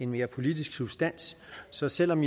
mere politisk substans så selv om